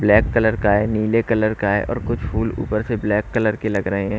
Black colour का है नीले कलर का है और कुछ फूल ऊपर से ब्लैक कलर के लग रहे हैं।